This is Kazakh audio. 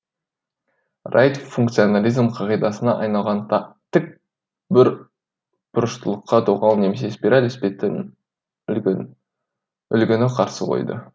райт функционализм қағидасына айналған тік бір бұрыштылыққа доғал немесе спираль іспетті үлгіні қарсы қойды